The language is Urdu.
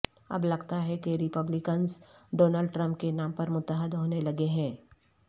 اب لگتا ہے کہ ریپبلیکنز ڈونلڈ ٹرمپ کے نام پر متحد ہونے لگے ہیں